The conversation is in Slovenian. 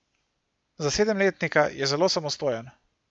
Za sedemletnika je zelo samostojen.